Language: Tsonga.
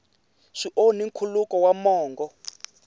swi onhi nkhuluko wa mongo